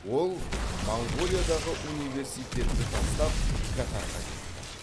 ол моңғолиядағы университетті тастап катарға кетті